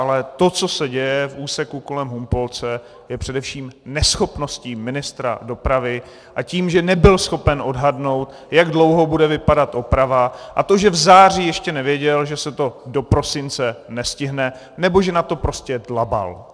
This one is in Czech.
Ale to, co se děje v úseku kolem Humpolce, je především neschopností ministra dopravy, a tím, že nebyl schopen odhadnout, jak dlouho bude vypadat oprava, a to, že v září ještě nevěděl, že se to do prosince nestihne, nebo že na to prostě dlabal.